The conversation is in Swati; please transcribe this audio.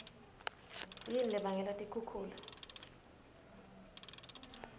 yini lebangela tikhukhula